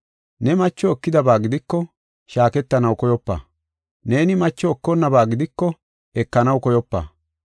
Ne macho ekidaba gidiko, shaaketanaw koyopa. Neeni macho ekaboonaba gidiko, ekanaw koyopa.